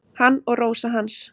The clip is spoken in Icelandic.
Hann og Rósa hans.